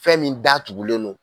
Fɛn min datugulen don